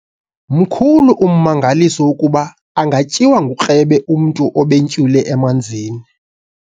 Mkhulu ummangaliso wokuba angatyiwa ngukrebe umntu obentywile emanzini.